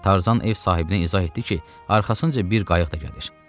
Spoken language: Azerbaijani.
Tarzan ev sahibinə izah etdi ki, arxasınca bir qayıq da gəlir.